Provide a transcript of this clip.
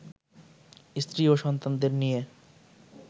স্ত্রী ও সন্তানদের নিয়ে